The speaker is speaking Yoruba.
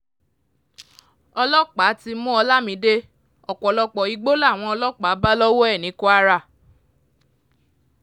ọlọ́pàá ti mú olamide ọ̀pọ̀lọpọ̀ igbó làwọn ọlọ́pàá bá lọ́wọ́ ẹ̀ ní kwara